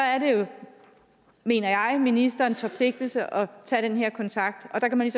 er det jo mener jeg ministerens forpligtelse at tage den her kontakt og der kan man